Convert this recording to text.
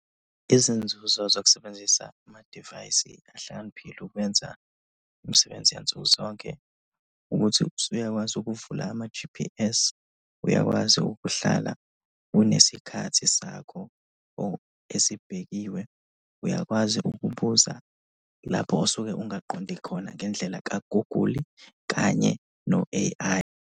Izinzuzo zokusebenzisa amadivayisi ahlakaniphile ukwenza imisebenzi yansuku zonke ukuthi usuyakwazi ukuvula ama-G_P_S, uyakwazi ukuhlala unesikhathi sakho esibhekiwe, uyakwazi ukubuza lapho osuke ungaqondi khona ngendlela ka-Google-i kanye no-A_I.